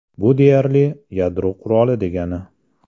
Bu deyarli yadro quroli degani.